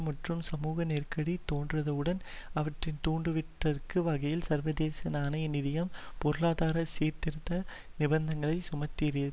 மற்றும் சமூக நெருக்கடி தோன்றியதுடன் அவற்றை தூண்டிவிடுகிற வகையில் சர்வதேச நாணய நிதியம் பொருளாதார சீர்திருத்த நிபந்தனைகள் சுமத்தியிருந்தது